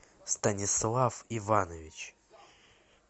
станислав иванович